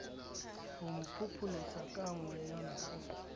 homo phopholetsaka ka mokgwanyana o